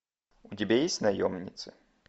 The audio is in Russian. у тебя есть наемницы